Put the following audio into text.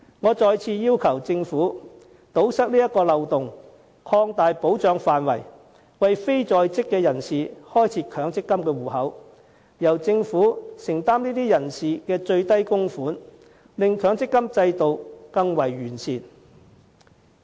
我再次要求政府堵塞這個漏洞，擴大保障範圍，為非在職人士開設強積金帳戶，並由政府承擔這些人士的最低供款，令強積金制度更為完善。